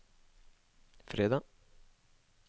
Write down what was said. fredag